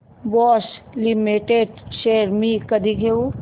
Bosch limited shares मी कधी घेऊ